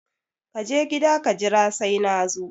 Kaje gida ka jira sai nazo